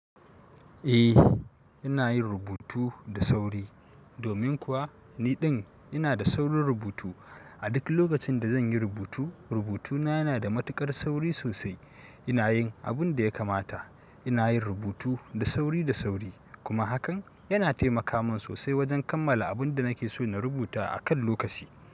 A ina yin rubutu da sauri domin kuwa niɗin ina da saurin rubutu. A duk lokacin da zan yi rubutu, rubutuna yana da matuƙar sauri sosai. I nayin abun da ya kamata ina yin rubutu da sauri da sauri kuma hakan yana taimaka min sosai wajen kammala abin da nake so na rubuta a kan lokaci.